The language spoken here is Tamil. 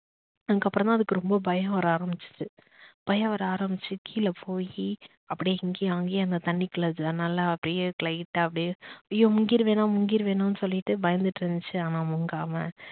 அதுக்கப்புறம் தான் அதுக்கு ரொம்ப பயம் வர ஆரம்பிச்சுச்சு பயம் வர ஆரம்பிச்சு கீழே போய் அப்படியே இங்கேயும் அங்கேயும் அந்த தண்ணிக்குள்ள நல்லா அப்படியே light ட்டா அப்படியே அய்யோ முங்கிருவேணா முங்கிருவேணா சொல்லிட்டு பயந்துட்டு இருந்துச்சு ஆனா முங்காம